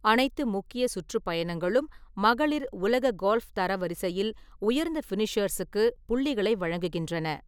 அனைத்து முக்கிய சுற்றுப்பயணங்களும் மகளிர் உலக கோல்ஃப் தரவரிசையில் உயர்ந்த ஃபினிஷேர்ஸுக்கு புள்ளிகளை வழங்குகின்றன.